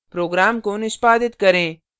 program को निष्पादित करें